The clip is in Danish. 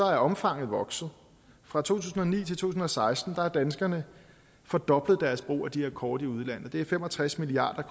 er omfanget vokset fra to tusind og ni til to tusind og seksten har danskerne fordoblet deres brug af de her kort i udlandet det er fem og tres milliard